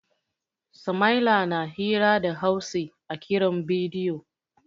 Sama'ila na hira da Hausi a kiran bidiyo.